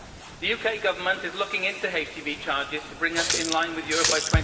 The UK Government is looking into HGV charges to bring us in line with Europe by